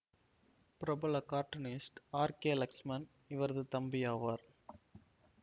பிரபல cartoonist R K Laxman இவரது தம்பியாவார்